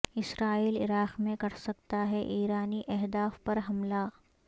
اسرائیل عراق میں کر سکتا ہے ایرانی اہداف پر حملہ